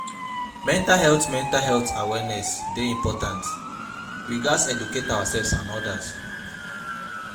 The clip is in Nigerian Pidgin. Mental health Mental health awareness dey important; we gats educate ourselves and odas.